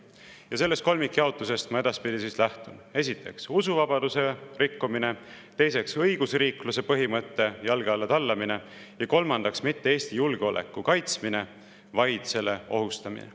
Ja sellest kolmikjaotusest ma edaspidi lähtun: esiteks, usuvabaduse rikkumine, teiseks, õigusriikluse põhimõtte jalge alla tallamine ja kolmandaks, mitte Eesti julgeoleku kaitsmine, vaid selle ohustamine.